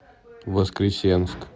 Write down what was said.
воскресенск